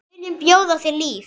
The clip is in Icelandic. Við viljum bjóða þér líf.